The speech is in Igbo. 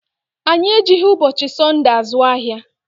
Anyị ejighị ụbọchị Sọnde azụ ahịa.